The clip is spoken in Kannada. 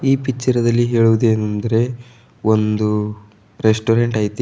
ಈ ಪಿಕ್ಚರದಲ್ಲಿ ಹೇಳುವುದೇನೆಂದರೆ ಒಂದು ರೆಸ್ಟೋರೆಂಟ್ ಐತಿ.